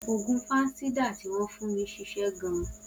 Oògùn fansidar tí wọn fún mí ṣiṣẹ́ gan